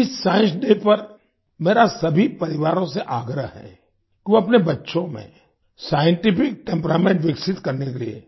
इस science day पर मेरा सभी परिवारों से आग्रह है कि वो अपने बच्चों में साइंटिफिक टेम्परामेंट विकसित करने के लिए